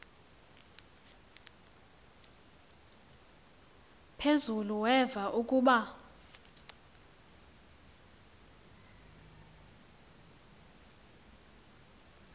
phezulu weva ukuba